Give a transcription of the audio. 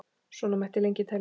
Svona mætti lengi telja.